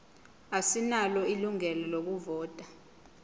asinalo ilungelo lokuvota